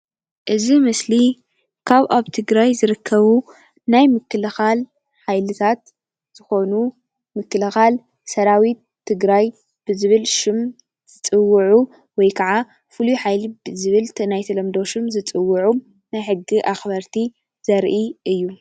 እዚ ምስሊ ካብ ኣብ ትግራይ ዝርከቡ ናይ ምክልኻል ሓይልታት ዝኾኑ ምክልኻል ሰራዊት ትግራይ ብዝብል ሹም ዝፅዉዑ ወይ ክዓ ፍሉይ ሓይሊ ብዝብል ትናይ ተለምዶ ሹም ዝፅዉዑ ናይ ሕጊ ኣኽበርቲ ዘርኢ እዩ።